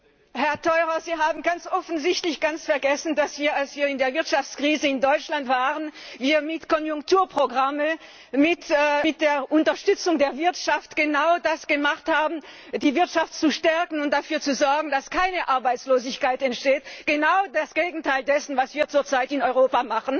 Herr Theurer, Sie haben ganz offensichtlich ganz vergessen, dass wir, als wir in der Wirtschaftskrise in Deutschland waren, mit Konjunkturprogrammen mit der Unterstützung der Wirtschaft genau das gemacht haben die Wirtschaft zu stärken und dafür zu sorgen, dass keine Arbeitslosigkeit entsteht genau das Gegenteil dessen, was wir zurzeit in Europa machen!